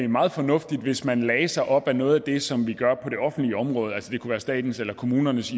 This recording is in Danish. meget fornuftigt hvis man lagde sig op ad noget af det som man gør på det offentlige område altså det kunne være statens eller kommunernes